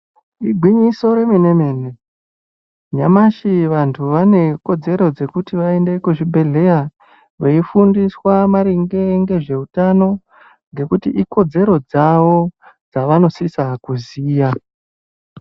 Igwinyiso remenemene nyamashi vanhu vane kodzero dzekuti vaende kuzvibhehleya veifundiswa maringe ngezveutano ngekuti ikodzero dzavo dzavanosise kuziya.